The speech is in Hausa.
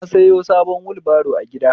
Na sayo sabon wulbaro a gida